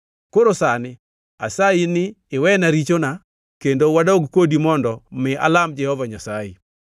Koro sani asayi ni iwena richona kendo wadog kodi mondo mi alam Jehova Nyasaye.”